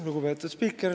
Lugupeetud spiiker!